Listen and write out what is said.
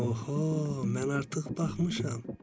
Aha, mən artıq baxmışam.